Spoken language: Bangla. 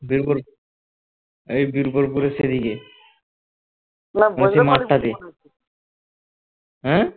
এই বীরপুরগড়ের এদিকে ওই মাঠটাতে হ্যাঁ